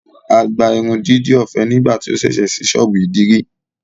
À gbà ìrundidi ọfẹ nigbati ó ṣẹṣẹ ṣìí sọ́ọ̀bù idiri